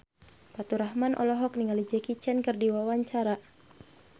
Faturrahman olohok ningali Jackie Chan keur diwawancara